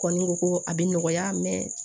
Kɔni ko ko a bɛ nɔgɔya mɛ